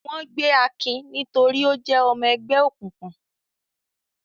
Wọ́n gbé Akin nítorí ó jẹ́ ọmọ ẹgbẹ́ òkùnkùn.